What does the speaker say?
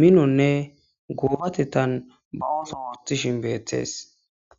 lo'onne mino goobatethan ba ooso oothishin beetes.